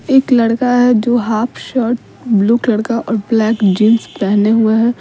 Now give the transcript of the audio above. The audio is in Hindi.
एक लड़का है जो हाफ शर्ट ब्लू कलर का और ब्लैक जींस पेहने हुए है।